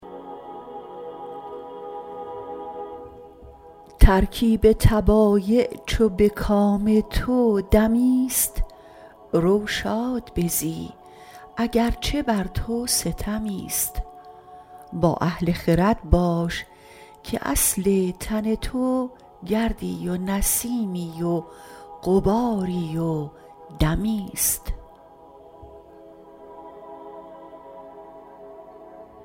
ترکیب طبایع چو به کام تو دمی ست رو شاد بزی اگر چه بر تو ستمی ست با اهل خرد باش که اصل تن تو گردی و نسیمی و غباری و دمی ست